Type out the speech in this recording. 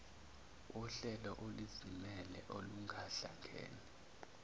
wohlelo oluzimele olungahlangene